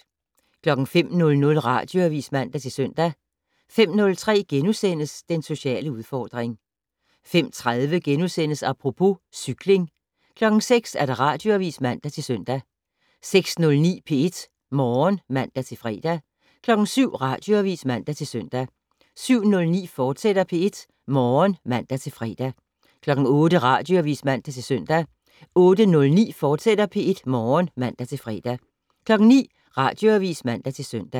05:00: Radioavis (man-søn) 05:03: Den sociale udfordring * 05:30: Apropos - cykling * 06:00: Radioavis (man-søn) 06:09: P1 Morgen (man-fre) 07:00: Radioavis (man-søn) 07:09: P1 Morgen, fortsat (man-fre) 08:00: Radioavis (man-søn) 08:09: P1 Morgen, fortsat (man-fre) 09:00: Radioavis (man-søn)